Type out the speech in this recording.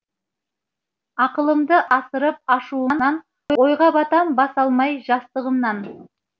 ақылымды асырып ашуымнан ойға батам бас алмай жастығымнан